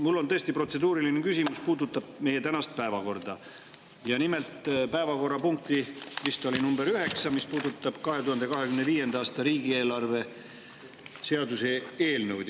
Mul on tõesti protseduuriline küsimus, mis puudutab meie tänast päevakorda ja päevakorrapunkti, mis oli vist number üheksa, 2025. aasta riigieelarve seaduse eelnõu.